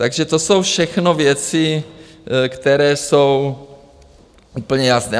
Takže to jsou všechno věci, které jsou úplně jasné.